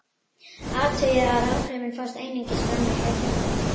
Athugið að áhrifin fást einungis fram með heyrnartólum.